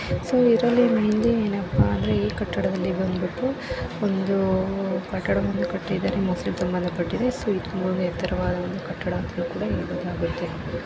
So ಇದ್ರಲ್ಲಿ ಏನಪ್ಪ ಅಂದರೆ ಈ ಕಟ್ಟಡದಲ್ಲಿ ಬಂದುಬಿಟ್ಟು ಒಂದು ಕಟ್ಟಡವನ್ನು ಕಟ್ಟಿದ್ದಾನೆ ಮುಸ್ಲಿಂ ಮಜೀದ್‌ ಕಟ್ಟಿದ್ದಾರೆ. ಇದು ಎತ್ತರವಾದ ಕಟ್ಟಡ ಅಂತಾ ಹೇಳಲಾಗುತ್ತೆ.